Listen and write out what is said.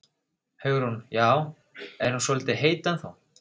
Hugrún: Já, er hún svolítið heit ennþá?